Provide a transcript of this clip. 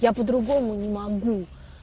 я по-другому не могу